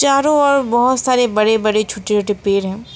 चारों ओर बहुत सारे बड़े बड़े छोटे छोटे पेड़ है।